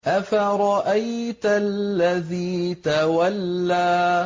أَفَرَأَيْتَ الَّذِي تَوَلَّىٰ